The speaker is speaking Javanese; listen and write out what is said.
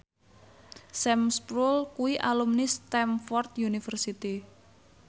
Sam Spruell kuwi alumni Stamford University